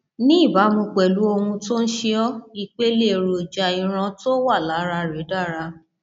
ní ìbámu pẹlú ohun tó ń ṣe ọ ipele èròjà iron tó wà lára rẹ dára